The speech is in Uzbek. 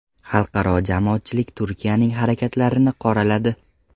Xalqaro jamoatchilik Turkiyaning harakatlarini qoraladi.